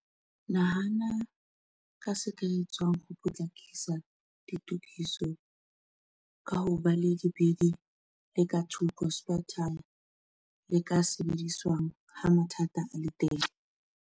Nahana ka se ka etswang ho potlakisa ditokiso ka ho ba le lebidi le ka thoko, spare tyre, le ka sebediswang ha mathata a le teng.